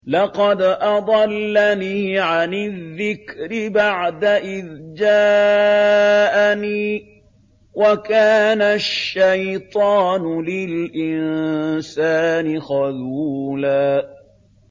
لَّقَدْ أَضَلَّنِي عَنِ الذِّكْرِ بَعْدَ إِذْ جَاءَنِي ۗ وَكَانَ الشَّيْطَانُ لِلْإِنسَانِ خَذُولًا